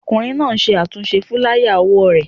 Ọkùnrin náà ń ṣe àtúnṣe fúláyà òwò rẹ̀